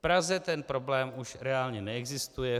V Praze ten problém už reálně neexistuje.